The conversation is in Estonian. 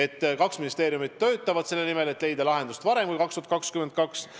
Ja kaks ministeeriumi töötavad selle nimel, et leida lahendus varem kui 2022.